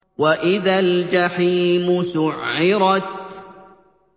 وَإِذَا الْجَحِيمُ سُعِّرَتْ